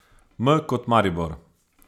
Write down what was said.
M kot Maribor.